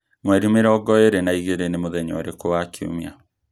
mwerī mīrongo īri na īgīri nī mūthenya ūrikū wa kiumia